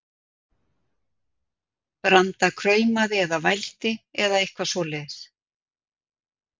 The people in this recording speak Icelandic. Branda kumraði eða vældi, eða eitthvað svoleiðis.